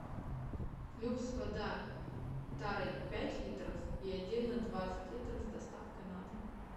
люкс вода тарой пять литров и отдельно двадцать литров с доставкой на дом